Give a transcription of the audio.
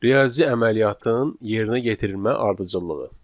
Riyazi əməliyyatın yerinə yetirilmə ardıcıllığı.